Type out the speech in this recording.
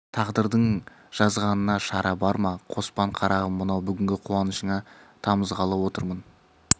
тағдырдың жазғанына шара бар ма қоспан қарағым мынау бүгінгі қуанышыңа тамызғалы отырмын